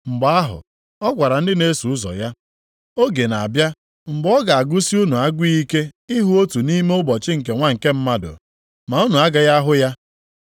Mgbe ahụ, ọ gwara ndị na-eso ụzọ ya, “Oge na-abịa mgbe ọ ga-agụsi unu agụụ ike ịhụ otu nʼime ụbọchị nke Nwa nke Mmadụ, ma unu agaghị ahụ ya.